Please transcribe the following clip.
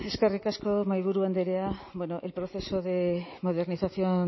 eskerrik asko mahaiburu andrea el proceso de modernización